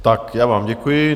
Tak já vám děkuji.